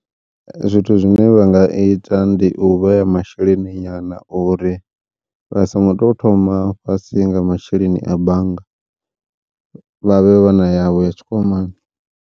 Zwithu zwine vha nga ita ndi u vheya masheleni nyana uri vha songo tou thoma fhasi nga masheleni a bannga, vhavhe vha na yavho ya tshikwamani.